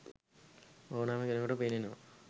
ඕනෑම කෙනෙකුට පෙනෙනවා